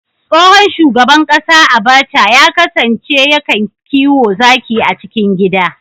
Tsohon shugaban kasa Abaca ya kasance ya kan kiwo zaki a cikin gida